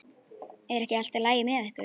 Er ekki allt í lagi með ykkur?